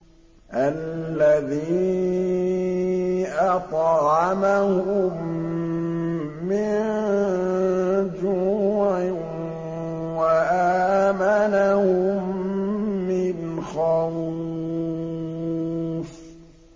الَّذِي أَطْعَمَهُم مِّن جُوعٍ وَآمَنَهُم مِّنْ خَوْفٍ